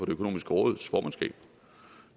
økonomiske råds formandskab